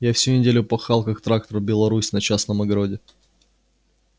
я всю неделю пахал как трактор беларусь на частном огороде